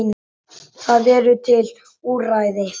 Það eru til úrræði.